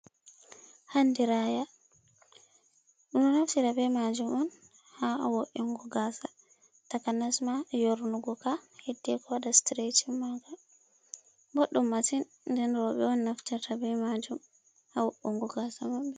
Handiraya ɗum ɗo naftita be majum on ha wo’ingo ga'satakanasma yornugo kaheddi ko waɗa sitireshin ma' Ka .Bɗɗum masin, den roɓe on naftita be ma'jum ha wo’ungo ga'sa maɓɓe.